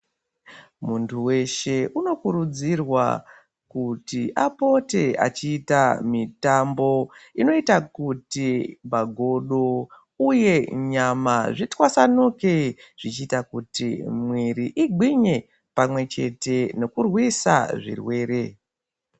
Muntu weshe unokurudzirwa kuti apote achiita mitambo inoita kuti magodo uye nyama zvitwasanuje zvichiita kuti mwiri igwinye pamwechete nekurwisa zvirwere.